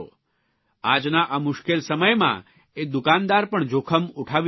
આજના આ મુશ્કેલ સમયમાં એ દુકાનદાર પણ જોખમ ઉઠાવી રહ્યો છે